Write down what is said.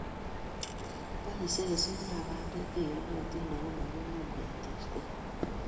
Boisie keswekab bandek che iyotin ako manyumnyum keterter